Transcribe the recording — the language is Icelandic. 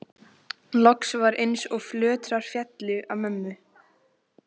Loks var eins og fjötrar féllu af mömmu.